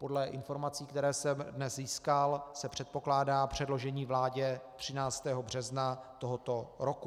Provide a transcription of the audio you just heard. Podle informací, které jsem dnes získal, se předpokládá předložení vládě 13. března tohoto roku.